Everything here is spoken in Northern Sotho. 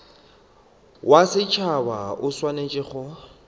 wa setšhaba o swanetše go